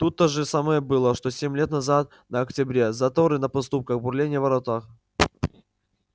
тут то же самое было что семь лет назад на октябре заторы на подступах бурление в воротах